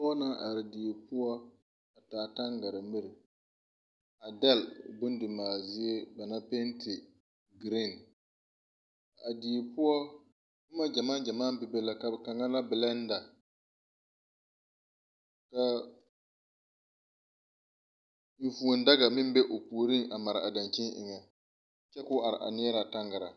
Pɔge naŋ are die poɔ a taa taŋgare miri a dɛle bondimaale zie ba naŋ penti giriiŋ. A die poɔ, boma gyamaa gyamaa bebe la, kaŋa la belɛnda, ka vũũ daga meŋ be o puoriŋ a mare a daŋkyini eŋɛ kyɛ ka o are a neɛrɛ a taŋgaraa.